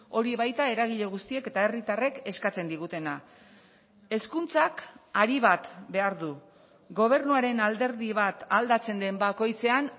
hori baita eragile guztiek eta herritarrek eskatzen digutena hezkuntzak ari bat behar du gobernuaren alderdi bat aldatzen den bakoitzean